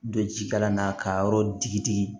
Don ji kalan na k'a yɔrɔ digi digi